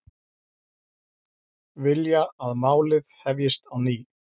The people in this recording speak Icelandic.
Vilja að málið hefjist á ný